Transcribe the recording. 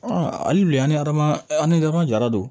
Ɔ hali bi an ni adamaden an ni ɲɔgɔn jara don